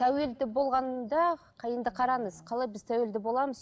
тәуелді болғанда енді қараңыз қалай біз тәуелді боламыз